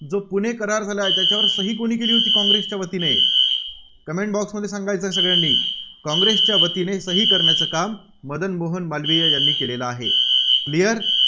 जो पुणे करार झाला, त्याच्यावर सही कुणी केली होती काँग्रेसच्यावतीने? Comment Box मध्ये सांगायचं आहे सगळ्यांनी. काँग्रेसच्यावतीने सही करण्याचं काम मदन मोहन मालवीय यांनी केलेलं आहे. clear